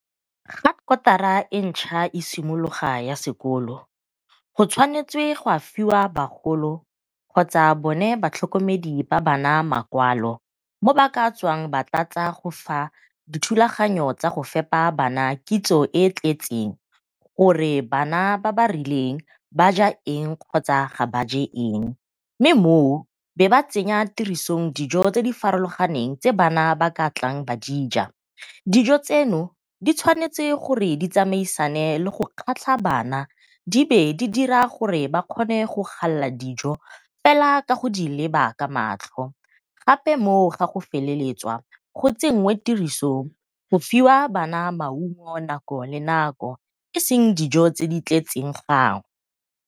Fa kotara e ntšhwa e simologa ya sekolo go tshwanetse ga fiwa bagolo kgotsa bone batlhokomedi ba bana makwalo, mo ba ka tswang ba tlatsa go fa dithulaganyo tsa go fepa bana kitso e e tletseng gore bana ba ba rileng ba ja eng kgotsa ga ba je eng. Mme mo o be ba tsenya tirisong dijo tse di farologaneng tse bana ba ka tlang ba dija, dijo tseno di tshwanetse di tsamaisane le go kgatlha bana di be di dira gore ba kgona go galela dijo fela ka go di leba ka matlho. Gape mo o ga go feleletswa go tsenngwe tirisong go fiwa bana maungo nako le nako, e seng dijo tse di tletseng .